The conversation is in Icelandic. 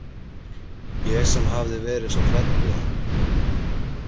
Ég sem hafði verið svo hrædd við hann.